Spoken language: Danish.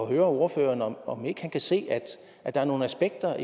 høre ordføreren om om ikke han kan se at der er nogle aspekter